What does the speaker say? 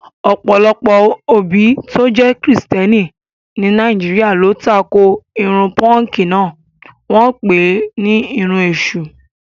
ọ̀pọ̀lọpọ̀ òbí tó jẹ́ Kìrìsìtẹ́ẹ́nì ní Nàìjíríà ló tako irun pọ́ǹkì náà, wọ́n pè é ní irun èṣù.